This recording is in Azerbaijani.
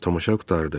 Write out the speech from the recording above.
Tamaşa qurtardı.